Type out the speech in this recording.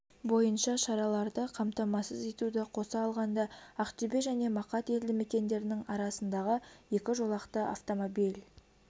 бойынша шараларды қамтамасыз етуді қоса алғанда ақтөбе және мақат елді мекендерінің арасындағы екі жолақты автомобиль